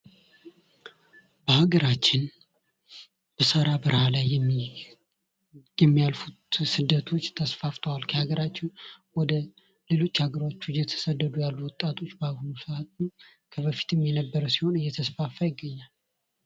በሀገራችን በሰሃራ በረሃ ላይ የሚያልፉት ስደቶች ተስፋፍተዋል በሀገራችን ወደ ሌሎች አገሮች የሚያልፉት ወጣቶች ከበፊቱም የነበረ ሲሆን በአሁኑ ሰዓት በጣም እየተስፋፋ ይገኛል።